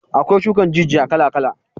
Akwai shukan jijiya kala kala